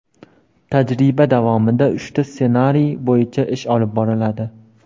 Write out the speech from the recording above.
Tajriba davomida uchta ssenariy bo‘yicha ish olib boriladi.